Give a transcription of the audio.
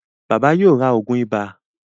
Bàbá yóò rá oògùn iba.